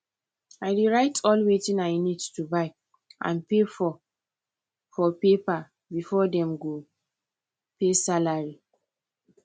i dey write all wetin i need to buy and pay for for paper before them go pay salary